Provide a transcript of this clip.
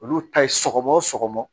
Olu ta ye sɔgɔma o sɔgɔma